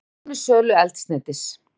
Það þýði minni sölu eldsneytis